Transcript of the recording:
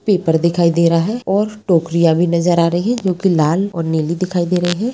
Paper दिखाई दे रहा है और टोकरियाँ भी नजर आ रही है जो कि लाल और नीली दिखाई दे रही हैं।